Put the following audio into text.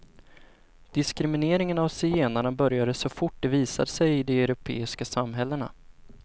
Diskrimineringen av zigenarna började så fort de visade sig i de europeiska samhällena.